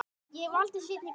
Ég valdi seinni kostinn.